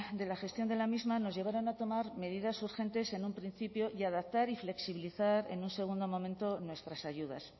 de la gestión de la misma nos llevaron a tomar medidas urgentes en un principio y adaptar y flexibilizar en un segundo momento nuestras ayudas